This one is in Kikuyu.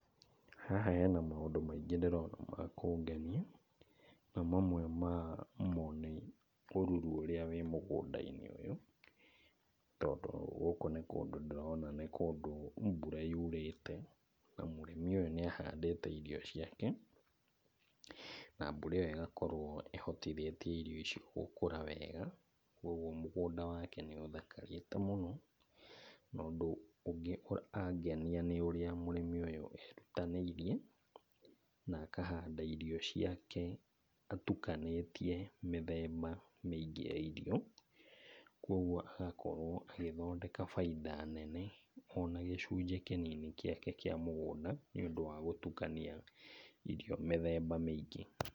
Haha hena maũndũ maingĩ ndĩrona ma kũngenia, na mamwe mamo nĩ ũruru ũrĩa wĩ mũgũnda-inĩ ũyũ, tondũ gũkũ nĩ kũndũ ndĩrona nĩ kũndũ mbura yurĩte, na mũrĩmi ũyũ nĩahandĩte rio ciake, na mbura ĩyo ĩgakorwo ĩhotithĩtie irio icio gũkũra wega, kuoguo mũgũnda wake nĩũthakarĩte mũno. Na, ũndũ ũngĩ ũrangenia nĩ ũrĩa mũrĩmi ũyũ erutanĩirie na akahanda irio ciake atukanĩtie mĩthemba mĩingĩ ya irio, kuoguo agakorwo agĩthondeka bainda nene ona gĩcunjĩ kĩnini gĩake kĩa mũgũnda nĩũndũ wa gũtukania irio mĩthemba mĩingĩ.